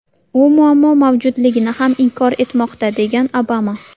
U muammo mavjudligini ham inkor etmoqda”, degan Obama.